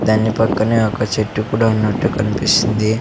దాన్ని పక్కనే ఒక చెట్టు కుడా ఉన్నట్టు కనిపిస్తుంది.